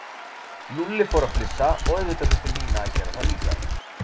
Lúlli fór að flissa og auðvitað þurfti Nína að gera það líka.